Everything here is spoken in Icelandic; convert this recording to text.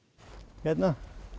hérna